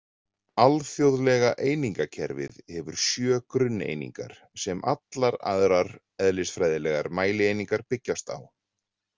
Alþjóðlega einingakerfið hefur sjö grunneiningar, sem allar aðrar eðlisfræðilegar mælieiningar byggjast á.